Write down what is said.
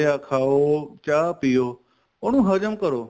ਖਾਉ ਚਾਹ ਪਿਉ ਉਹਨੂੰ ਹਜਮ ਕਰੋਂ